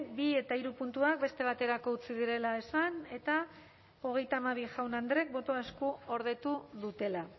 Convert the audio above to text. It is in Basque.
bi eta hiru puntuak beste baterako utzi direla esan eta hogeita hamabi jaun andreek boto eskuordetu dutela